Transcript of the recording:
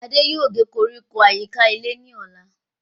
Adé yòó gé koríko àyíká ilé ní ọ̀la